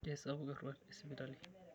Keisapuk eruat e sipitali.